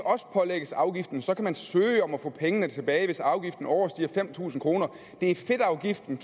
pålægges afgiften så kan man søge om at få pengene tilbage hvis afgiften overstiger fem tusind kroner det er fedtafgiften